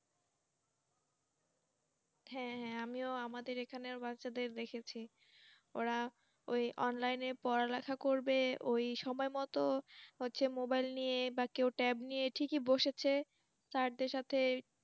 হ্যাঁ হ্যাঁ আমিও আমাদের এখানে বাচ্চাদের দেখেছি ওরা ওই Online এ পড়ালেখা করবে ওই সময় মত হচ্ছে Mobile য়ে বা কেউ tab নিয়ে ঠিকই বসেছে Sir দের সাথে